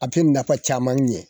A bi nafa caman ɲɛ.